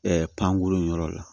pankoro yɔrɔ la